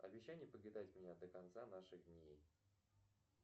обещай не покидать меня до конца наших дней